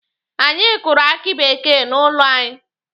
Anyị kụrụ aki bekee n'ụlọ anyị.